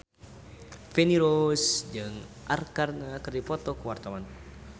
Feni Rose jeung Arkarna keur dipoto ku wartawan